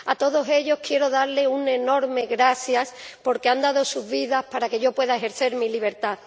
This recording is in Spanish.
A todos ellos quiero darles un enorme gracias porque han dado sus vidas para que yo pueda ejercer mi libertad.